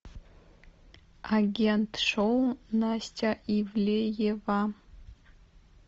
агент шоу настя ивлеева